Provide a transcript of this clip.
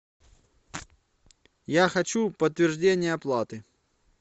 я хочу подтверждение оплаты